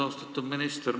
Austatud minister!